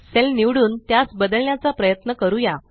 sale निवडुन त्यास बदलण्याचा प्रयत्न करूया